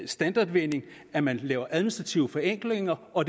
standardvending at man laver administrative forenklinger og